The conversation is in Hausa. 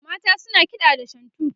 mata suna kiɗa da shantu